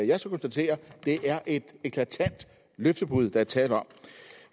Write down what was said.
jeg så konstatere det er et eklatant løftebrud der er tale om